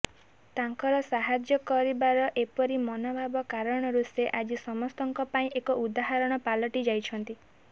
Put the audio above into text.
ତାଙ୍କର ସାହାଯ୍ୟ କରିବାର ଏପରି ମନଭାବ କାରଣରୁ ସେ ଆଜି ସମସ୍ତଙ୍କ ପାଇଁ ଏକ ଉଦାହରଣ ପାଲଟିଯାଇଛନ୍ତି